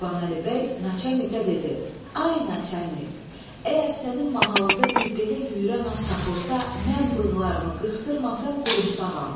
Qurbanəli bəy naçalnikə dedi: Ay naçalnik, əgər sənin mahalında bir belə yüyürən at tapılsa, mən bığlarımı qırxdırmasam qorumsağam.